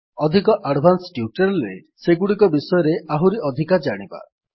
ଅଧିକ advanced tutorial ରେ ସେଗୁଡିକ ବିଷୟରେ ଆହୁରି ଅଧିକ ଜାଣିବା